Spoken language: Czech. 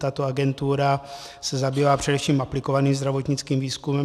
Tato agentura se zabývá především aplikovaným zdravotnickým výzkumem.